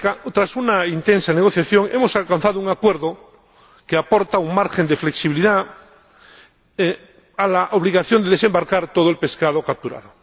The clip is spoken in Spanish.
Tras una intensa negociación, hemos alcanzado un acuerdo que aporta un margen de flexibilidad a la obligación de desembarcar todo el pescado capturado.